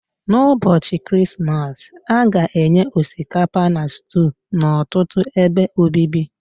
N'ụbọchị Krismas, a ga-enye osikapa na stew n'ọtụtụ ebe obibi